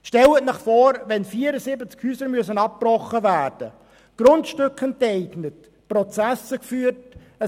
Stellen Sie sich vor, es müssen 74 Häuser abgebrochen, Grundstücke enteignet, Prozesse geführt werden.